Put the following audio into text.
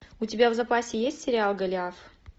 у тебя в запасе есть сериал голиаф